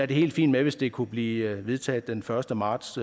det helt fint med hvis det kunne blive vedtaget den første marts